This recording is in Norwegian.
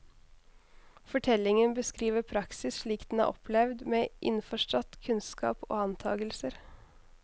Fortellingen beskriver praksis slik den er opplevd, med innforstått kunnskap og antakelser.